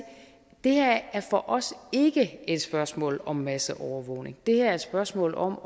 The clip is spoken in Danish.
det her for os ikke er et spørgsmål om masseovervågning det her er et spørgsmål om